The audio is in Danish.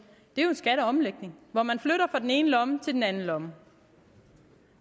er jo skatteomlægning hvor man flytter fra den ene lomme til den anden lomme